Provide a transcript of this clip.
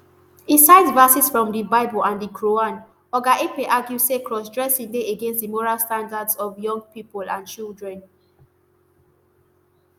e cite verses from di bible and di quran oga ekpe argue say crossdressing dey against di moral standards of young pipo and children